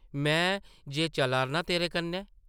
में जे चला’रनां तेरे कन्नै ।